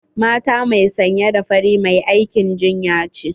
Mata mai sanya da fari mai aikin jinya ce.